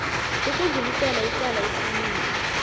ukudlulisela icala isililo